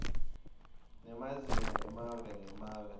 nemazinga emave ngemave